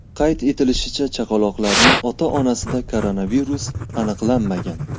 Qayd etilishicha, chaqaloqlarning ota-onasida koronavirus aniqlanmagan.